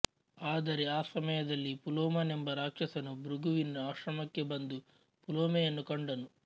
ಆದರೆ ಆ ಸಮಯದಲ್ಲಿ ಪುಲೋಮನೆಂಬ ರಾಕ್ಷಸನು ಭೃಗುವಿನ ಆಶ್ರಮಕ್ಕೆ ಬಂದು ಪುಲೋಮೆಯನ್ನು ಕಂಡನು